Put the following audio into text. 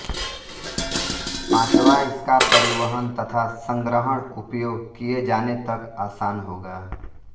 पांचवां इसका परिवहन तथा संग्रहण उपयोग किये जाने तक आसान होगा